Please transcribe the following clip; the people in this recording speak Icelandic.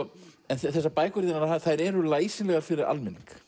þessar bækur þínar þær eru læsilegar fyrir almenning